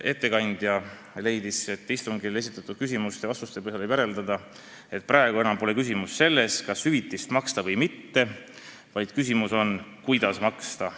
Ettekandja leidis, et istungil esitatud küsimuste-vastuste põhjal võib järeldada, et praegu pole enam küsimus selles, kas hüvitist maksta või mitte, vaid küsimus on, kuidas maksta.